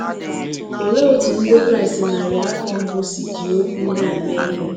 Olee otú Ndị Kraịst narị afọ mbụ si jiri okwu ndị a mee ihe?